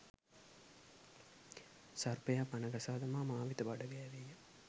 සර්පයා පණ ගසා දමා මා වෙත බඩගෑවේය.